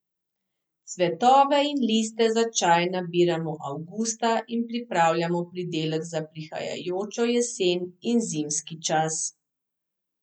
Cvetove in liste za čaj nabiramo avgusta in pripravljamo pridelek za prihajajočo jesen in zimski čas.